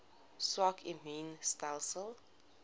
swak immuun stelsels